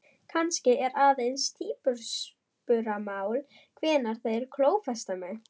Kannski er aðeins tímaspursmál hvenær þeir klófesta mig?